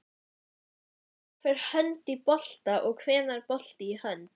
Gamall fatnaður, skór, möppur með bókhaldsgögnum, gömul hljómtæki og vínyl-plötur.